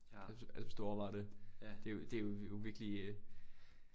Altså altså hvis du har overvejet det det er jo det er jo virkelig øh